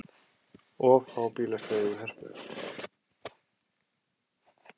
Of fá bílastæði við Hörpu